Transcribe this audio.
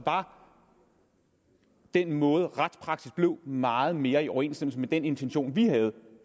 var den måde retspraksis blev på meget mere i overensstemmelse med den intention vi havde